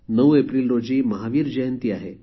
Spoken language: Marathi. ९ एप्रिल रोजी महावीर जयंती आहे